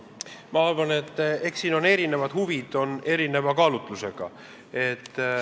Ma arvan, et mängus on erinevad huvid, erinevad kaalutlused.